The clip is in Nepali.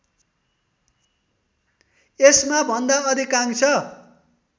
यसमा भन्दा अधिकांश